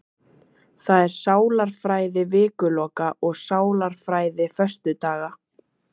Það er sálarfræði vikuloka, og sálarfræði föstudaga.